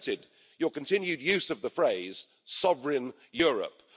And I noted your continued use of the phrase sovereign Europe'.